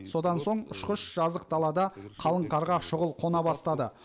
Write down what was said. содан соң ұшқыш жазық далада қалың қарға шұғыл қона бастады